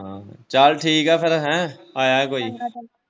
ਚੱਲ ਠੀਕ ਹੈ ਫਿਰ ਹੈਂ ਆਇਆ ਕੋਈ।